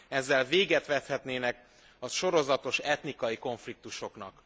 Ezzel véget vethetnének a sorozatos etnikai konfliktusoknak.